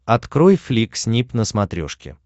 открой флик снип на смотрешке